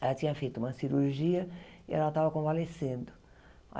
Ela tinha feito uma cirurgia e ela estava convalescendo.